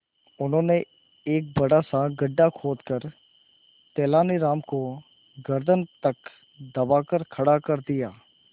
उन्होंने एक बड़ा सा गड्ढा खोदकर तेलानी राम को गर्दन तक दबाकर खड़ा कर दिया